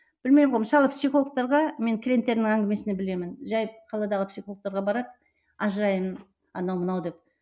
білмеймін ғой мысалы психологтарға мен клиенттердің әңгімесінен білемін жай қаладағы психологтерге барады ажыраймын анау мынау деп